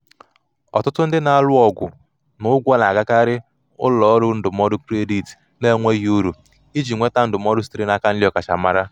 ọtụtụ ndị na-alụ ọgụ na ụgwọ na-agakarị ụlọ ọrụ ndụmọdụ kredit na-enweghị uru iji nweta ndụmọdụ sitere n'aka ndị ọkachamara.